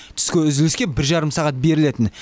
түскі үзіліске бір жарым сағат берілетін